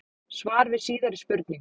Svar við síðari spurningu: